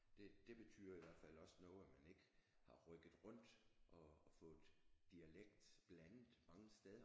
Det det betyder i hvert fald også noget at man ikke har rykket rundt og og fået dialekt blandet mange steder